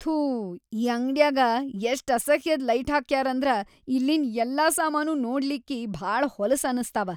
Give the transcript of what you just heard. ಥೂ ಈ ಅಂಗ್ಡ್ಯಾಗ ಎಷ್ಟ್ ಅಸಹ್ಯದ್ ಲೈಟ್ಹಾಕ್ಯಾರಂದ್ರ ಇಲ್ಲಿನ್‌ ಯಲ್ಲಾ ಸಾಮಾನೂ ನೋಡ್ಲಿಕ್ಕಿ ಭಾಳ ಹೊಲಸ್ ಅನಸ್ತಾವ.